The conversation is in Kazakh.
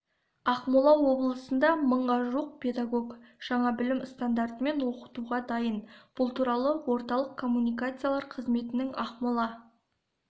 ақмола облысында мыңға жуық педагог жаңа білім стандартымен оқытуға дайын бұл туралы орталық коммуникациялар қызметінің ақмола